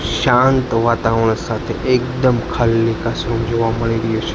શાંત વાતાવરણ સાથે એકદમ ખાલી ક્લાસરૂમ જોવા મળી રયુ છ--